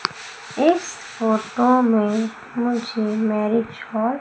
इस फोटो में मुझे मैरिज हॉल --